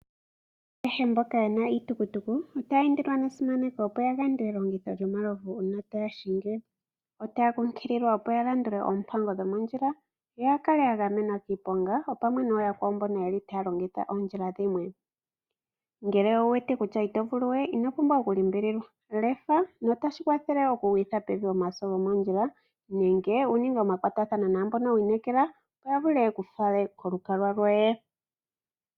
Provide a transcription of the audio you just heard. Kehe mboka yena iitukutuku otaya indilwa nesimaneko opo yaande elongothi lyomalovu uuna taya hingi . Otaya kumagidhwa opo yalandule oompango dhomondjila , yoya kale yagamwenwa kiiponga opamwe nooyakwawo mboka yeli taya longitha oondjila dhimwe. Ngele owuwete kutya ito vuluwe ino pumbwa okulimbililwa, lefa notashi kwathele okugwilitha pevi omaso gomoondjila nenge wuninge omakwatathano naambono wiinekela opo yavule yeku fale kolukalwa lwoye.